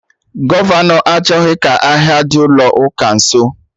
Gọvọnọ achọghị ka ahịa dị ụlọ ụka nso